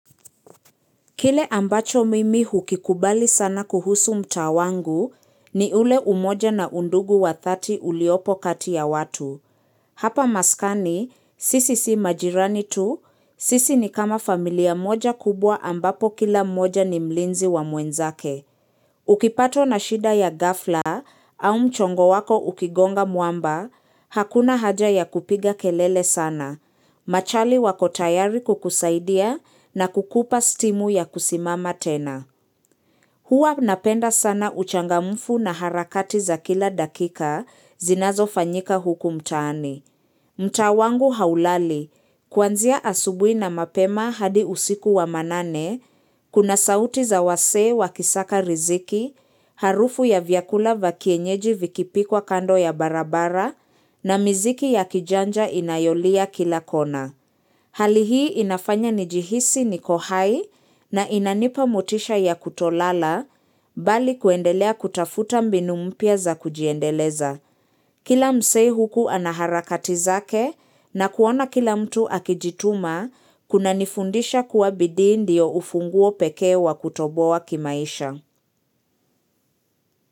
Kile ambacho mimi hukikubali sana kuhusu mtaa wangu ni ule umoja na undugu wa 30 uliopo kati ya watu. Hapa maskani, sisi si majirani tu, sisi ni kama familia moja kubwa ambapo kila mmoja ni mlinzi wa mwenzake. Ukipatwa na shida ya ghafla au mchongo wako ukigonga mwamba, hakuna haja ya kupiga kelele sana. Machali wako tayari kukusaidia na kukupa stimu ya kusimama tena. Hua napenda sana uchangamfu na harakati za kila dakika zinazofanyika huku mtaani. Mtaa wangu haulali, kwanzia asubuhi na mapema hadi usiku wa manane, kuna sauti za wasee wakisaka riziki, harufu ya vyakula vya kienyeji vikipikwa kando ya barabara na miziki ya kijanja inayolia kila kona. Hali hii inafanya nijihisi niko hai na inanipa motisha ya kutolala bali kuendelea kutafuta mbinu mpya za kujiendeleza. Kila msee huku anaharakati zake na kuona kila mtu akijituma kunanifundisha kuwa bidii ndiyo ufunguo peke wa kutoboa kimaisha.